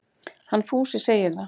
Hann Fúsi segir það.